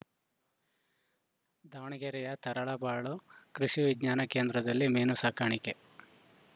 ದಾವಣಗೆರೆಯ ತರಳಬಾಳು ಕೃಷಿ ವಿಜ್ಞಾನ ಕೇಂದ್ರದಲ್ಲಿ ಮೀನು ಸಾಕಾಣಿಕೆ